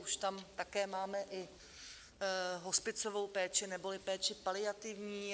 Už tam také máme i hospicovou péči neboli péči paliativní.